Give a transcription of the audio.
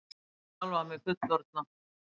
Ég sá sjálfa mig fullorðna.